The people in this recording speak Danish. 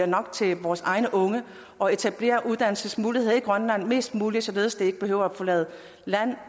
nok til vores egne unge og etablerer uddannelsesmuligheder i grønland mest muligt således at de ikke behøver at forlade landet